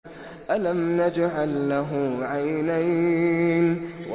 أَلَمْ نَجْعَل لَّهُ عَيْنَيْنِ